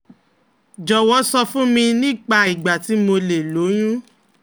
Jọwọ sọ fún mi nípa ìgbà tí mo lè lóyún